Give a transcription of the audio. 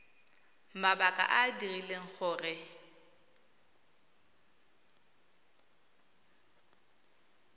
mabaka a a dirileng gore